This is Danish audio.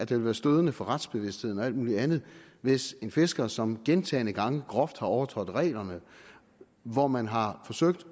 vil være stødende for retsbevidstheden og alt muligt andet hvis en fisker som gentagne gange groft har overtrådt reglerne og hvor man har forsøgt